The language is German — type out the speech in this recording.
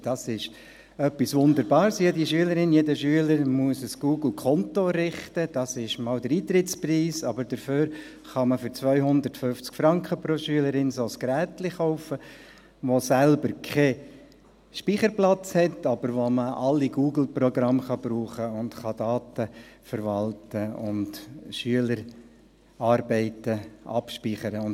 Das ist etwas Wunderbares, jede Schülerin, jeder Schüler muss ein Google-Konto errichten, das ist mal der Eintrittspreis, aber dafür kann man für 250 Franken pro Schülerin ein solches Gerätchen kaufen, das selbst keinen Speicherplatz hat, aber mit dem man alle Google-Programme nutzen, Daten verwalten und Schülerarbeiten abspeichern kann.